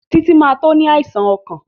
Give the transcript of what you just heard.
Títí ma tó ní àìsàn ọkàn